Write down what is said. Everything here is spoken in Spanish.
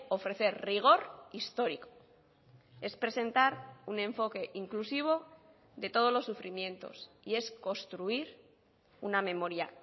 ofrecer rigor histórico es presentar un enfoque inclusivo de todos los sufrimientos y es construir una memoria